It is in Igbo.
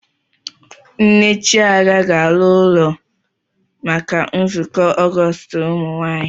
Nne Chiaga ga-ala ụlọ maka nzukọ Ọgọọst ụmụnwaanyị.